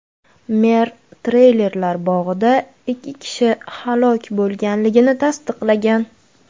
Mer treylerlar bog‘ida ikki kishi halok bo‘lganini tasdiqlagan.